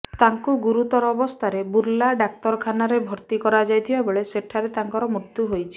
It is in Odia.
ତାଙ୍କୁ ଗୁରୁତର ଅବସ୍ଥାରେ ବୁର୍ଲା ଡ଼ାକ୍ତରଖାନାରେ ଭର୍ତ୍ତି କରାଯାଇଥିବା ବେଳେ ସେଠାରେ ତାଙ୍କର ମୃତ୍ୟୁ ହୋଇଛି